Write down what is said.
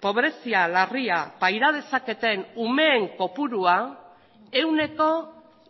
pobrezia larria paira dezaketen umeen kopurua ehuneko